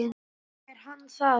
Er hann það?